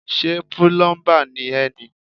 Ṣé pílọ́ḿbà ni ẹ́ ni.